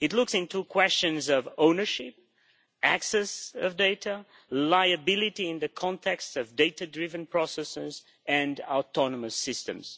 It looks into questions of ownership, access to data, liability in the context of data driven processes and autonomous systems.